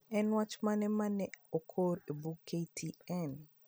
En wach mane ma ne okor e bug k. t. n?